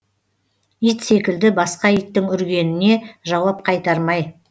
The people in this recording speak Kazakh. ит секілді басқа иттің үргеніне жауап қайтармай